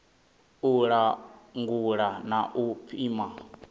u langula na u pima